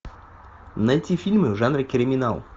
найти фильмы в жанре криминал